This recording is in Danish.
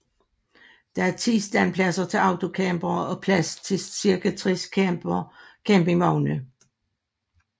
Der er 10 standpladser til autocampere og plads til cirka 60 campingvogne